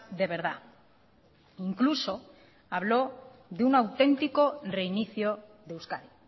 de verdad incluso hablo de un auténtico reinicio de euskadi